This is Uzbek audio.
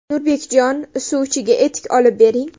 Nurbekjon, suvchiga etik olib bering.